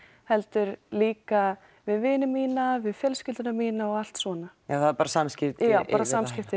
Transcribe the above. heldur líka við vini mína fjölskylduna mína og allt svona bara samskipti bara samskipti